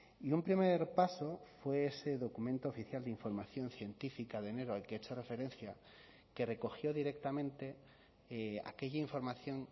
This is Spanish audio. y un primer paso fue ese documento oficial de información científica de enero al que he hecho referencia que recogió directamente aquella información